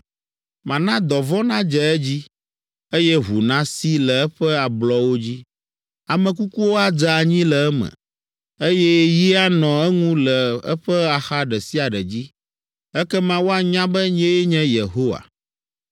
Mana dɔvɔ̃ nadze edzi, eye ʋu nasi le eƒe ablɔwo dzi. Ame kukuwo adze anyi le eme, eye yi anɔ eŋu le eƒe axa ɖe sia ɖe dzi. Ekema woanya be nyee nye Yehowa.